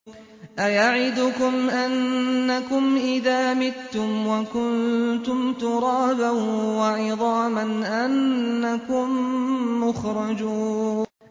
أَيَعِدُكُمْ أَنَّكُمْ إِذَا مِتُّمْ وَكُنتُمْ تُرَابًا وَعِظَامًا أَنَّكُم مُّخْرَجُونَ